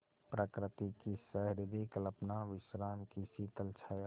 प्रकृति की सहृदय कल्पना विश्राम की शीतल छाया